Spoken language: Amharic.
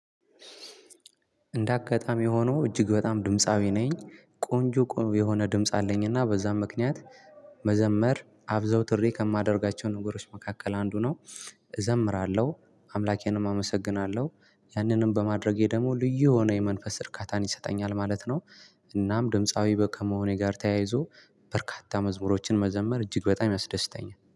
እንደ አጋጣሚ ሆኖ እጅግ በጣም ድምፃዊ ነኝ። ቆንጆ ቆንጆ የሆነ ድምጽ አለኝና በዛም ምክንያት መዘመር አዘውትሬ ከማደርጋቸው ነገሮች መካከል አንዱ ነው። እዘምራለሁ አምላኬንም አመሰግናለሁ። ያንንም በማድረጌ ደግሞ ልዩ የሆነ የመንፈስ እርካታን ይሰጠኛል ማለት ነው። እናም ድምፃዊ ከመሆኔ ጋር ተያይዞ በርካታ መዝሙሮችን መዘመር እጅግ በጣም ያስደስተኛል